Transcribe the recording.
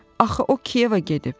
Axı o Kiyevə gedib.